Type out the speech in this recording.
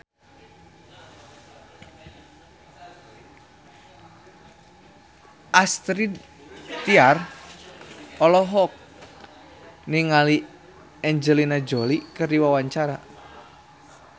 Astrid Tiar olohok ningali Angelina Jolie keur diwawancara